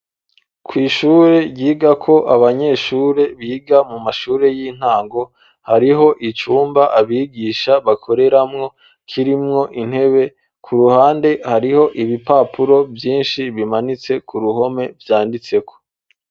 Kw'ishure ryigako abanyeshure biga mu mashure y'intango hariho icumba abigisha bakoreramwo kirimwo intebe ku ruhande hariho ibipapuro vyinshi bimanitse ku ruhome vyanditseko.